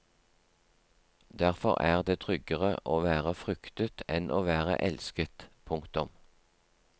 Derfor er det tryggere å være fryktet enn å være elsket. punktum